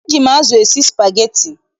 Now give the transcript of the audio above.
Eji m azụ esi spageti.